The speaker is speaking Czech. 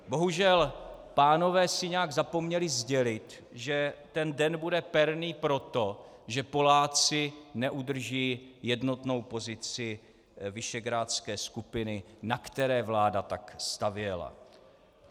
Bohužel, pánové si nějak zapomněli sdělit, že ten den bude perný proto, že Poláci neudrží jednotnou pozici Visegrádské skupiny, na které vláda tak stavěla.